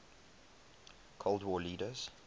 cold war leaders